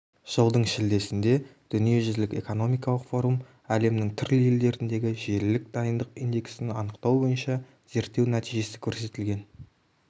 жылдың шілдесінде дүниежүзілік экономикалық форум әлемнің түрлі елдеріндегі желілік дайындық индексін анықтау бойынша зерттеу нәтижесі көрсетілген